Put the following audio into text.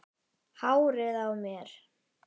Hárið á mér?